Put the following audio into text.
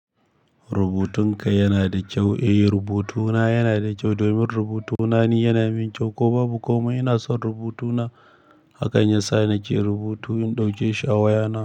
Rubutunka yana da kyau? Eh rubutuna yana da kyau domin rubutuna ni yana min kyau, ko babu komai ina son rubutuna. Hakan ya sa nake rubutu in ɗauke shi a wayana.